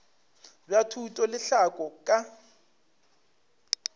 bja thuto le tlhahlo ka